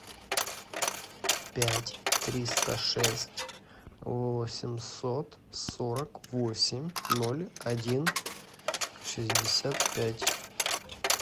пять триста шесть восемьсот сорок восемь ноль один шестьдесят пять